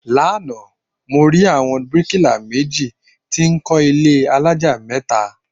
Lánàá, mo rí àwọn bíríkílà méjì tí kọ ilé alájà mẹ́ta